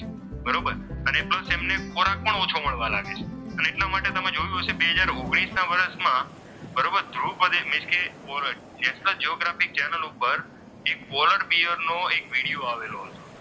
પણ ઓછો મળવા લાગે છે અને એટલા માટે તમે જોયું હશે બે હજાર ઓગણીશ ના વર્ષમાં બરોબર ધ્રુવ પ્રદેશ મીન્સ કે પોલર નેશનલ જીયોગ્રાફી ચેનલ ઉપર પોલર બિયરનો એક વિડીયો આવેલો હતો.